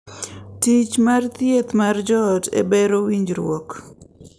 Tich mar thieth mar joot e bero winjruok